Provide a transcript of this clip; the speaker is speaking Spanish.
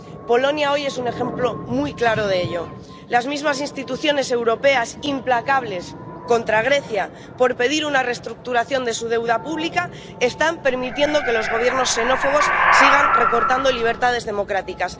Polonia hoy es un ejemplo muy claro de ello las mismas instituciones europeas, implacables contra Grecia por pedir una restructuración de su deuda pública, están permitiendo que los gobiernos xenófobos sigan recortando libertades democráticas.